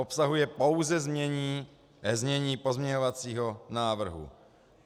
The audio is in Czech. Obsahuje pouze znění pozměňovacího návrhu.